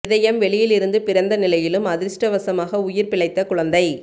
இதயம் வெளியில் இருந்து பிறந்த நிலையிலும் அதிர்ஷ்டவசமாக உயிர் பிழைத்த குழந்தை